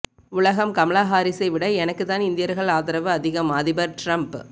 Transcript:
உலகம் கமலா ஹாரிஸை விட எனக்கு தான் இந்தியர்கள் ஆதரவு அதிகம் அதிபர் டிரம்ப்